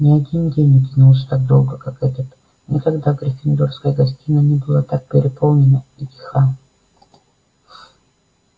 ни один день не тянулся так долго как этот никогда гриффиндорская гостиная не была так переполнена и тиха